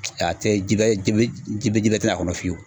A tɛ jiba ji bɛ ji bɛrɛ te n'a kɔnɔ fiyewu